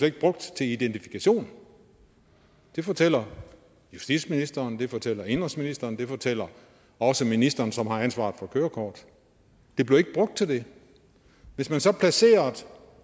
ikke brugt til identifikation det fortæller justitsministeren det fortæller indenrigsministeren og det fortæller også ministeren som har ansvaret for kørekort det bliver ikke brugt til det hvis man placerede